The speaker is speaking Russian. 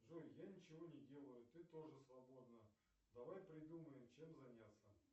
джой я ничего не делаю ты тоже свободна давай придумаем чем заняться